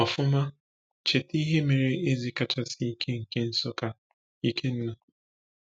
Ọfụma, cheta ihe mere eze kachasị ike nke Nsukka, Ikenna.